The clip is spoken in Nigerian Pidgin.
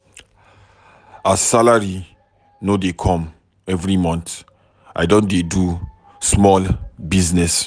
As salary no dey come every mont, I don dey do small business.